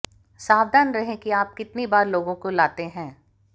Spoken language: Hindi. सावधान रहें कि आप कितनी बार लोगों को लाते हैं